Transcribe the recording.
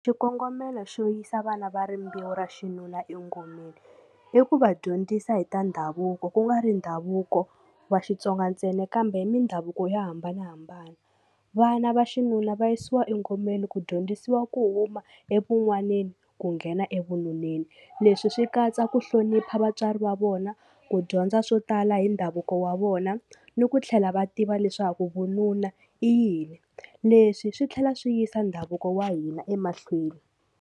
Xikongomelo xo yisa vana va rimbewu ra xinuna engomeni i ku va dyondzisa hi ta ndhavuko ku nga ri ndhavuko wa Xitsonga ntsena kambe hi mindhavuko yo hambanahambana vana va xinuna va yisiwa engomeni ku dyondzisiwa ku huma evun'waneni ku nghena evununeni leswi swi katsa ku hlonipha vatswari va vona ku dyondza swo tala hi ndhavuko wa vona ni ku tlhela va tiva leswaku vununa i yini leswi swi tlhela swi yisa ndhavuko wa hina emahlweni.